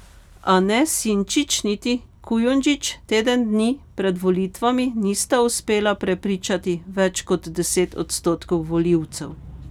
A ne Sinčić niti Kujundžić teden dni pred volitvami nista uspela prepričati več kot deset odstotkov volivcev.